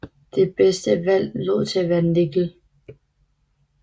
Det bedste valg lod til at være nikkel